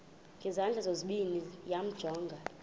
ngezandla zozibini yamjonga